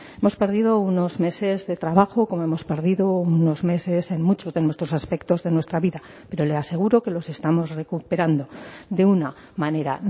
hemos perdido unos meses de trabajo como hemos perdido unos meses en muchos de nuestros aspectos de nuestra vida pero le aseguro que los estamos recuperando de una manera